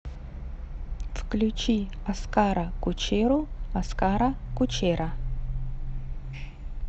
включи оскара кучеру оскара кучера